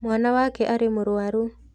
Mwana wake arĩ mũrũaru.